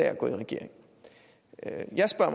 er gået i regering